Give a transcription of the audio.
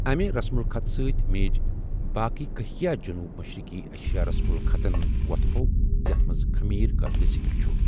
امہِ رسمُ الخط ستۍ میٖج باقےٕ کٔہیا جنوبی مشرق ایشیا رسمُ الخطن وۅتھٕ بوٚو یتھ منٛز کھمیٖر قٲبلِ ذِکر چھِ ۔